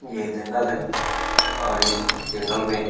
ये जंगल है और इस जंगल में --